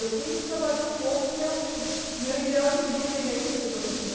Eu tenho que trabalhar um pouco meu meu ideal de vida e é isso que eu estou fazendo.